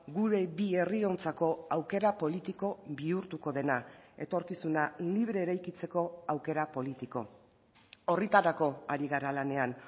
gure bi herriontzako aukera politiko bihurtuko dena etorkizuna libre eraikitzeko aukera politiko horretarako ari gara lanean